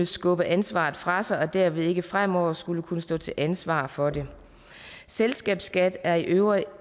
skubbe ansvaret fra sig og derved ikke fremover skulle kunne stå til ansvar for det selskabsskat er i øvrigt